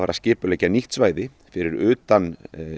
skipulagði nýtt svæði fyrir utan